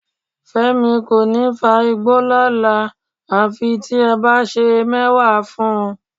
Fẹ́mi kò ní fa igbó lọ́la àfi tí ẹ bá sè é mẹ́wà fún un